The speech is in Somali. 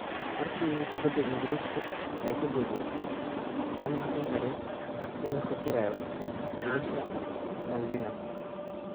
"Markii kubaddu Ingiriiska ay ka boodday, lama hakin karin in la fakarayo wiilasha Malvinas."